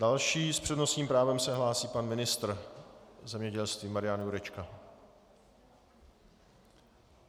Další s přednostním právem se hlásí pan ministr zemědělství Marian Jurečka.